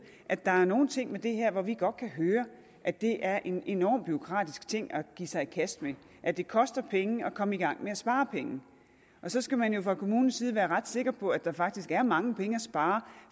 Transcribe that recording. at der er nogle ting med det her hvor vi godt kan høre at det er en enorm bureaukratisk ting at give sig i kast med at det koster penge at komme i gang med at spare penge og så skal man jo fra kommunens side være ret sikker på at der faktisk er mange penge at spare